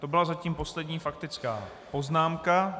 To byla zatím poslední faktická poznámka.